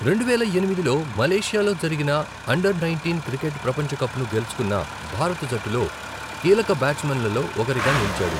రెండువేల ఎనిమిదిలో మలేషియాలో జరిగిన అండర్ నైంటీన్ క్రికెట్ ప్రపంచ కప్ను గెలుచుకున్న భారత జట్టులో కీలక బ్యాట్స్మెన్లలో ఒకరిగా నిలిచాడు.